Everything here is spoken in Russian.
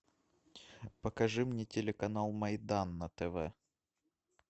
покажи мне телеканал майдан на тв